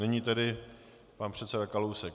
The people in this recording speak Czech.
Nyní tedy pan předseda Kalousek.